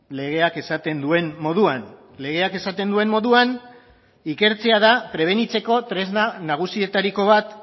legeak esaten duen moduan legeak esaten duen moduan ikertzea da prebenitzeko tresna nagusietariko bat